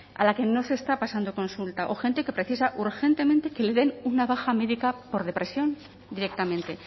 a la que no se está pasando consulta o gente que precisa urgentemente que le den una baja médica por depresión directamente